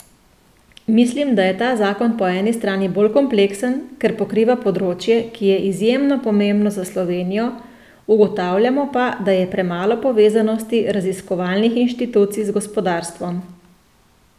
Mislim, da je ta zakon po eni strani bolj kompleksen, ker pokriva področje, ki je izjemno pomembno za Slovenijo, ugotavljamo pa, da je premalo povezanosti raziskovalnih inštitucij z gospodarstvom.